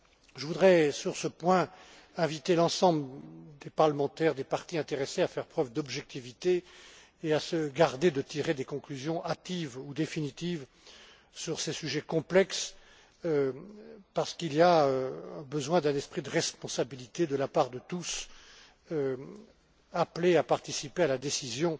Je voudrais, sur ce point, inviter l'ensemble des parlementaires, des partis intéressés à faire preuve d'objectivité et à se garder de tirer des conclusions hâtives ou définitives sur ces sujets complexes, parce qu'un esprit de responsabilité est nécessaire de la part de tous ceux appelés à participer à la décision